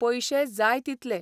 पयशे जाय तितले.